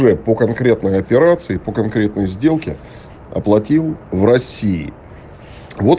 лять по конкретной операции по конкретной сделке оплатил в россии вот